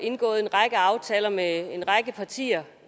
indgået en række aftaler med en række partier